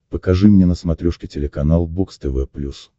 покажи мне на смотрешке телеканал бокс тв плюс